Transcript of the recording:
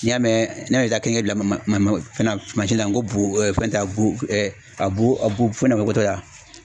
N'i y'a mɛn n'a y'i ka kɛ dilan fɛn na la n ko fɛn t'a go a bu fana magotɔ la